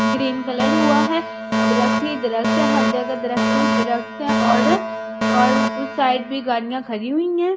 Green colour हुआ है दरख्त ही दरख्त है हर जगह दरख्त ही दरख्त है और और उस साइड भी गाड़ियां खड़ी हुई हैं।